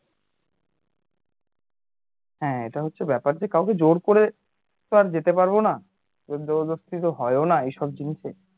হ্যাঁ এটা হচ্ছে ব্যাপার যে কাউকে জোর করে তো আর যেতে পারবো না জোর জবরদস্তি তো হয় ও না এই সব জিনিসে